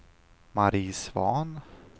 Mari Svahn